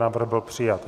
Návrh byl přijat.